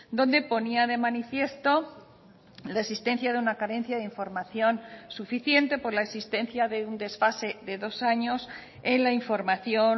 donde ponía de manifiesto la existencia de una carencia de información suficiente por la existencia de un desfase de dos años en la información